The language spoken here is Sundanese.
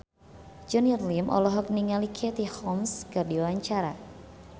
Junior Liem olohok ningali Katie Holmes keur diwawancara